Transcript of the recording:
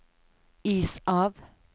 is av